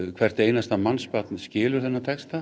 hvert einasta barn skilur þennan texta